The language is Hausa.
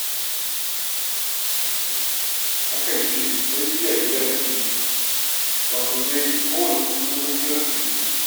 A kan ce tarbiya gida take bi, wato dai kowanne tsuntsu kukan gidansu yake yi.